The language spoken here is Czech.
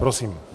Prosím.